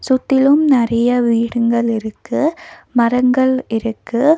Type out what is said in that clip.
சுத்திலும் நெறைய வீடுங்கள் இருக்கு மரங்கள் இருக்கு.